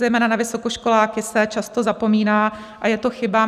Zejména na vysokoškoláky se často zapomíná a je to chyba.